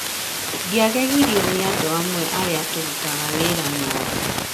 Ndiagegirio nĩ andũ amwe arĩa tũrutaga wĩra nao.